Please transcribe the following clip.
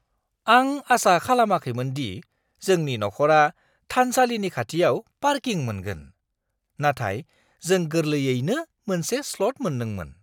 आं आसा खालामाखैमोन दि जोंनि नखरा थानसालिनि खाथियाव पार्किं मोनगोन, नाथाय जों गोरलैयैनो मोनसे स्लट मोनदोंमोन।